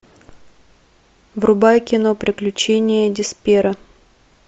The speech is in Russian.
врубай кино приключения деспера